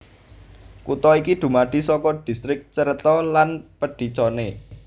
Kutha iki dumadi saka distrik Cerreto lan Pedicone